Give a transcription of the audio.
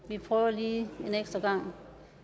vi prøver lige en ekstra gang